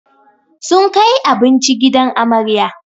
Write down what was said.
Sun kai abinci gidan amarya